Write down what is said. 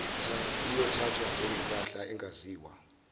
iyothathwa njengempahla engaziwa